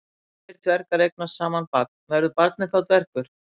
Ef tveir dvergar eignast saman barn, verður barnið þá dvergur?